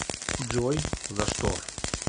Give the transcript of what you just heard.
джой за что